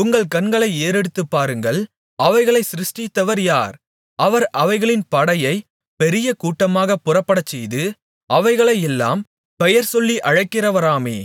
உங்கள் கண்களை ஏறெடுத்துப்பாருங்கள் அவைகளைச் சிருஷ்டித்தவர் யார் அவர் அவைகளின் படையை பெரிய கூட்டமாகப் புறப்படச்செய்து அவைகளையெல்லாம் பெயர்சொல்லி அழைக்கிறவராமே